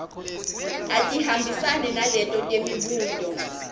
atihambisane naleto temibuto